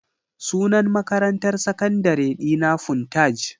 Sunan makarantar sakandare dina Funtaj.